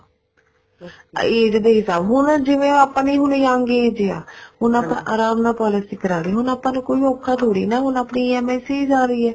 age ਦੇ ਹਿਸਾਬ ਹੁਣ ਜਿਵੇਂ ਆਪਾਂ ਦੇ ਹੁਣ young age ਆ ਹੁਣ ਆਪਾਂ ਆਰਾਮ ਨਾਲ policy ਕਰ ਲਈ ਹੁਣ ਆਪਾਂ ਨੂੰ ਕੋਈ ਔਖਾ ਥੋੜੀ ਨਾ ਆਪਣੀ EMI ਜਾ ਰਹੀ ਹੈ